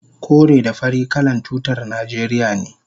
kore da fari kalan tutar najeriya ne